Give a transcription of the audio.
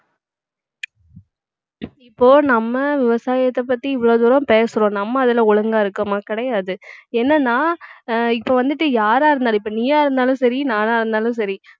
இப்போ நம்ம விவசாயத்தை பத்தி இவ்வளவு தூரம் பேசுறோம் நம்ம அதுல ஒழுங்கா இருக்கோமா கிடையாது என்னன்னா அஹ் இப்ப வந்துட்டு யாரா இருந்தாலும் இப்ப நீயா இருந்தாலும் சரி நானா இருந்தாலும் சரி